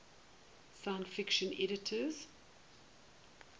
science fiction editors